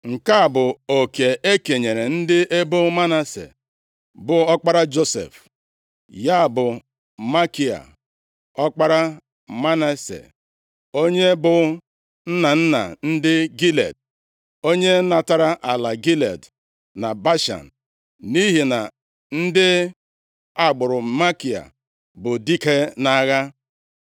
Nke a bụ oke e kenyere ndị ebo Manase, bụ ọkpara Josef, ya bụ Makia ọkpara Manase, onye bụ nna nna ndị Gilead. Onye natara ala Gilead na Bashan, nʼihi na ndị agbụrụ Makia bụ dike nʼagha.